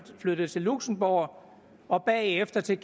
flyttet til luxembourg og bagefter til